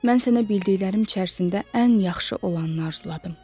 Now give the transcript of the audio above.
Mən sənə bildiklərim içərisində ən yaxşı olanı arzuladım.